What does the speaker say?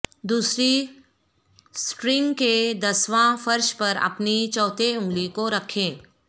دوسری سٹرنگ کے دسواں فرش پر اپنی چوتھے انگلی کو رکھیں